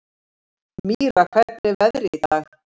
Mýra, hvernig er veðrið í dag?